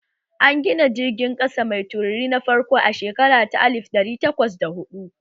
An gina jirgin ƙasa mai tururi na farko a shekara ta alif ɗari takwas da huɗu